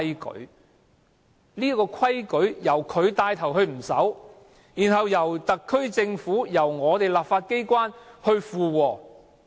可是，統治者現在帶頭不守這個規矩，並且由特區政府和我們的立法機關附和。